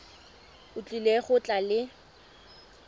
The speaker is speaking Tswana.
o tlile go tla le